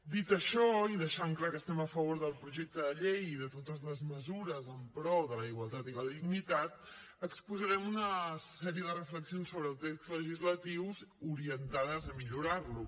dit això i deixant clar que estem a favor del projecte de llei i de totes les mesures en pro de la igualtat i la dignitat exposarem una sèrie de reflexions sobre el text legislatiu orientades a millorar lo